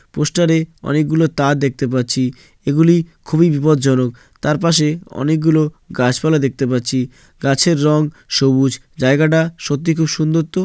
পোস্টারে অনেকগুলো তার দেখতে পাচ্ছি। এগুলি খুবই বিপদজনক। তার পাশে অনেকগুলো গাছপালা দেখতে পাচ্ছি। গাছের রং সবুজ। জায়গাটা সত্যি খুব সুন্দর তো।